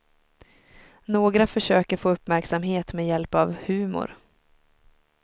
Några försöker få uppmärksamhet med hjälp av humor.